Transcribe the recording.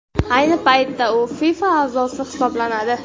Ayni paytda u FIFA a’zosi hisoblanadi.